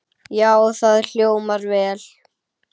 Já, það hljómar vel.